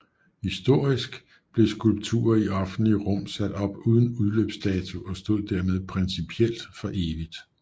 Historisk blev skulpturer i offentlige rum sat op uden udløbsdato og stod dermed principielt for evigt